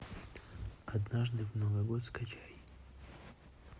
однажды в новый год скачай